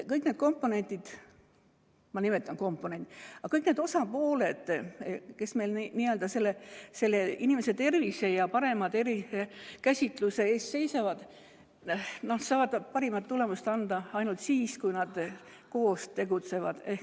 Kõik need komponendid või kõik need osapooled, kes meil inimese tervise ja parema tervisekäsitluse eest seisavad, saavad parima tulemuse anda ainult siis, kui nad koos tegutsevad.